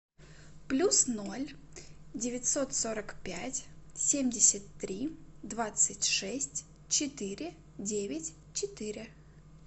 плюс ноль девятьсот сорок пять семьдесят три двадцать шесть четыре девять четыре